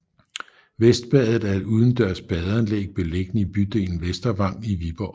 Vestbadet er et udendørs badeanlæg beliggende i bydelen Vestervang i Viborg